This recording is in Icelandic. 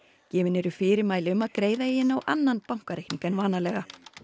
gefin er fyrirmæli um að greiða eigi inn á annan bankareikning en vanalega